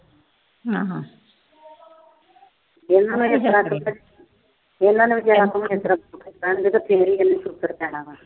ਉਹਨਾਂ ਨੇ ਅਹ ਉਹਨਾਂ ਨੇ ਫਿਰ ਹੀ ਇਹਨੂੰ